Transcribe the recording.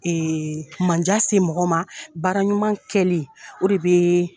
mandiya se mɔgɔ ma. Baara ɲuman kɛlen o de bɛ